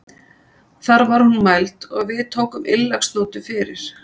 Þar var hún mæld og við tókum innleggsnótu fyrir.